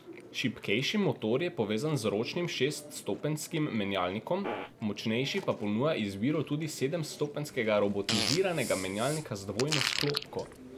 Šibkejši motor je povezan z ročnim šeststopenjskim menjalnikom, močnejši pa ponuja izbiro tudi sedemstopenjskega robotiziranega menjalnika z dvojno sklopko.